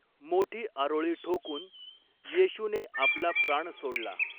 मोठी आरोळी ठोकून येशूने आपला प्राण सोडला.